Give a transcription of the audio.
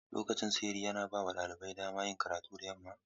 Lokacin shiri yana bawa ɗalibai damar yin karatu da yamma.